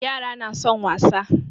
Yara na son wasa